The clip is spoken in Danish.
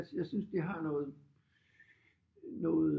Jeg synes det har noget noget